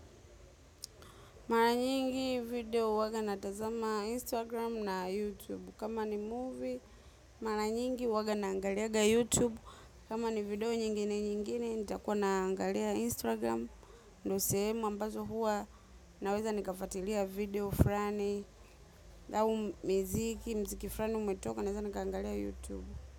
Mara nyingi video uwaga natazama Instagram na YouTube. Kama ni movie, mara nyingi uwaga naangaliaga YouTube. Kama ni video nyingine nyingine, nitakuwa naangalia Instagram. Ndo sehemu, ambazo huwa, naweza nikafuatilia video frani. Au miziki, mziki frani umetoka, naweza nikaangalia YouTube.